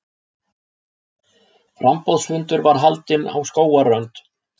Framboðsfundur var haldinn á Skógarströnd.